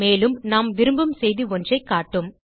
மேலும் நாம் விரும்பும் செய்தி ஒன்றை காட்டும்